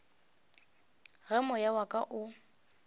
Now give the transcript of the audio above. ge moya wa ka o